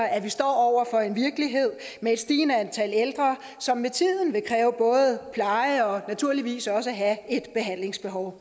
at vi står over for en virkelighed med et stigende antal ældre som med tiden vil kræve pleje og naturligvis også have et behandlingsbehov